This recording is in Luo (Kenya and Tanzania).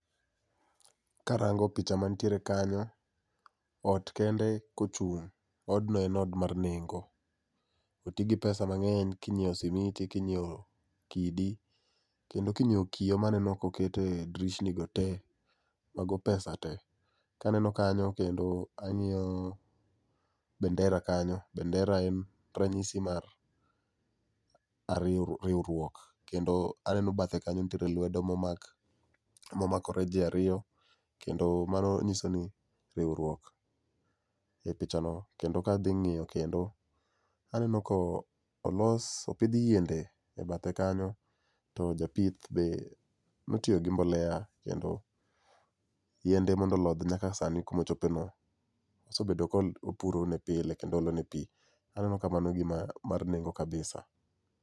Karango picha mantiere kanyo, ot kende kochung ,odno en od mar nengo. Otigi pesa mangeny kinyiew simiti, kinyiew kidi kendo kinyiew kioo maneno koket e drishni go tee, mago pesa tee. Kaneno kanyo kendo angiyo bendera kanyo, bendera en ranyisi mar ariyo, riwruok kendo aneno bathe kanyo nitie lwedo momak, momakore jii ariyo kendo ma nyisoni riwruok. E pichano kendo kadhi ngiyo kendo, olos, opidh yiende bathe kanyo to japith be notiyo gi mbolea kendo yiende mondo olodh nyaka sani kuma ochope no osebedo ka opuro ne pile kendo oolo ne pii, aneno ka mano gima, mar nengo kabisa